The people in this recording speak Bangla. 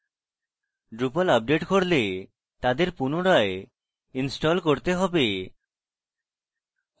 drupal আপডেট করলে তাদের পুনরায় ইনস্টল করতে হবে